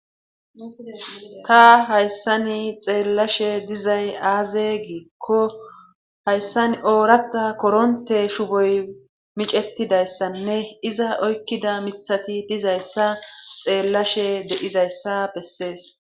Ta hayssani xeellashe dizay aaze giikko hayssan ooratha koronte shuboy micettidayssanne iza oykkida mithati dizayssa xeellashe dedizayssa bessees.